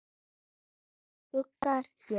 Rétt eins og skuggar gera.